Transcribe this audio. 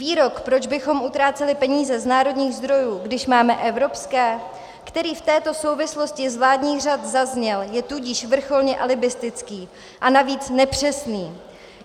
Výrok, proč bychom utráceli peníze z národních zdrojů, když máme evropské, který v této souvislosti z vládních řad zazněl, je tudíž vrcholně alibistický, a navíc nepřesný.